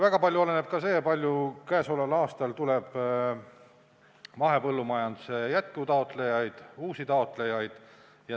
Väga palju oleneb ka sellest, kui palju käesoleval aastal tuleb juurde mahepõllumajanduse toetuse jätkutaotlejaid, uusi taotlejaid.